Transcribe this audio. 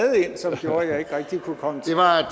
ind som gjorde at jeg ikke rigtig kunne komme